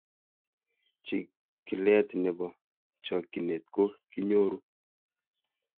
Chig�let nepo chokchinet ko kinyoru